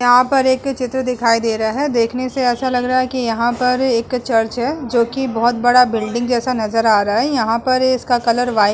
यहां पर एक के चित्र दिखाई दे रहा है। देखने से ऐसा लग रहा है कि यहां पर एक चर्च है जोकि बहोत बड़ा बिल्डिंग जैसा नजर आ रहा है। यहां पर इसका कलर व्हाइट --